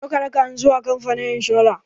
Zo ka raka ni zuwa kamfanin inshora!